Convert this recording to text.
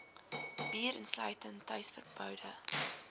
bier insluitend tuisverboude